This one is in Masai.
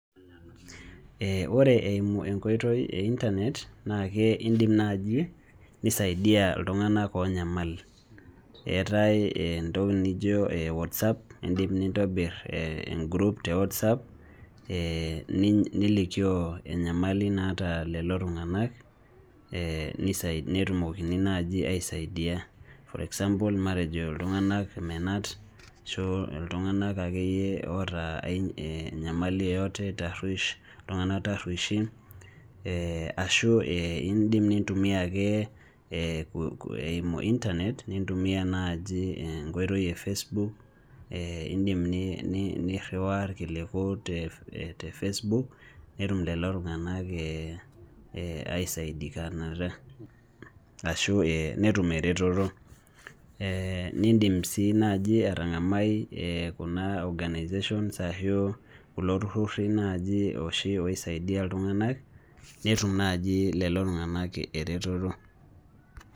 ee ore eimu enkoitoi e internet na idim naaji, nisaidia iltunganak oonyamal, eetae entoki nijo WhatsApp idim nintobir, ee group te WhatsApp nilikioo enyamali nanta lelo tunganak, nisaidia netumokini naaji aisaiidia. for example matejo iltungank menat, ashu iltungank akeyie oota enyamali yeyote iltunganak taruosh, tarushin, ashu idim nintumia ake eimu internet nitumia naji enkoitoi,e facebook ee idim niriwaa irkiliku te facebook netum lelo tungank aisidikanata ashu netum eretoto. nidim sii naaji atang'amai ee kuna organization ashu kulo tururi naaji oshi oisaidia iltungank netum naaji lelo tungank eretoto.